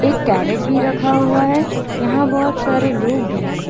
एक कैरट भी रखा हुआ है यहां बहुत सारे लोग भी हैं।